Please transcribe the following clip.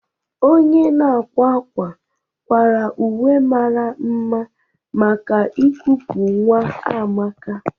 Onye na-akwa akwa kwara uwe mara mma maka ikupu nwa Amaka.